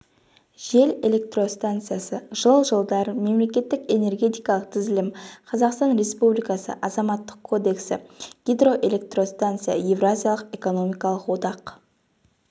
жел электростанциясы жыл жылдар мемлекеттік энергетикалық тізілім қазақстан республикасы азаматтық кодексі гидроэлектростанция евразиялық экономикалық одақ